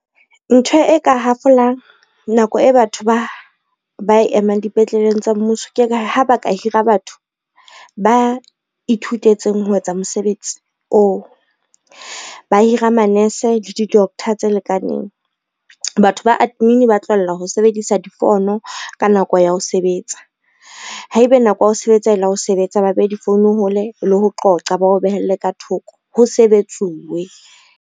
Ntho e ka hafolang nako e batho ba emang dipetleleng tsa mmuso, ke ha ba ka hira batho ba ithutetseng ho etsa mosebetsi oo. Ba hira manese le di-doctor tse lekaneng, batho ba admin ba tlohella ho sebedisa difono ka nako ya ho sebetsa. Haebe nako ya ho sebetsa e le ya ho sebetsa ba behe difounu hole le ho qoqa ba o behele ka thoko ho sebetsuwe.